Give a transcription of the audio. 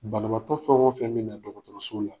Banabaatɔ fɛn o fɛn me na dɔgɔtɔrɔso la